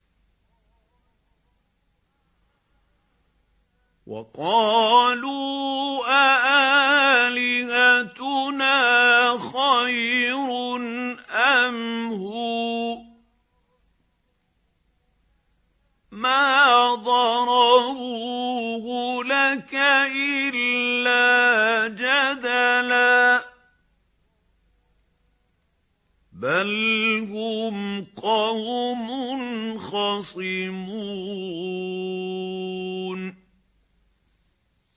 وَقَالُوا أَآلِهَتُنَا خَيْرٌ أَمْ هُوَ ۚ مَا ضَرَبُوهُ لَكَ إِلَّا جَدَلًا ۚ بَلْ هُمْ قَوْمٌ خَصِمُونَ